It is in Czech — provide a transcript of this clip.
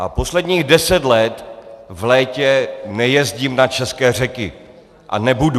A posledních deset let v létě nejezdím na české řeky a nebudu.